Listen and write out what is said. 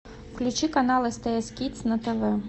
включи канал стс кидс на тв